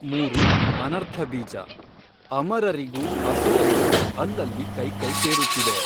ಮೂರು, ಅನರ್ಥ ಬೀಜ ಅಮರರಿಗೂ ಅಸುರರಿಗೂ ಅಲ್ಲಲ್ಲಿ ಕೈ ಕೈ ಸೇರುತ್ತಿದೆ.